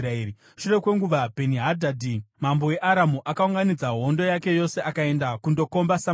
Shure kwenguva, Bheni-Hadhadhi mambo weAramu, akaunganidza hondo yake yose akaenda kundokomba Samaria.